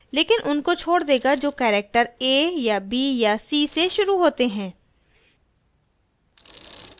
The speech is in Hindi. लेकिन उनको छोड़ देगा जो character a या b या c से शुरू होते हैं